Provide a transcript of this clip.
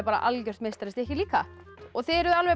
algjört meistarastykki líka þið eruð alveg